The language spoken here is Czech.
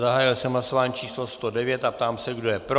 Zahájil jsem hlasování číslo 109 a ptám se, kdo je pro.